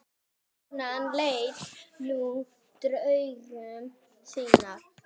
Konan lést níu dögum síðar.